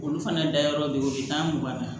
Olu fana dayɔrɔ be yen u bi taa mugan na